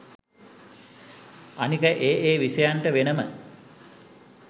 අනික ඒ ඒ විෂයන්ට වෙනම